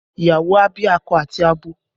Ìyàwó a bí akọ àti abo